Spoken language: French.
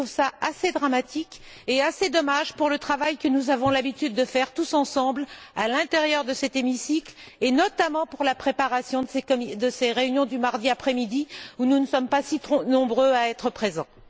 Je trouve cela assez dramatique et assez dommage pour le travail que nous avons l'habitude de faire tous ensemble, à l'intérieur de cet hémicycle, et notamment pour la préparation de ces réunions du mardi après midi, où nous ne sommes pas si nombreux à être présents.